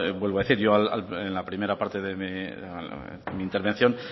vuelvo a decir yo en la primera parte de mi intervención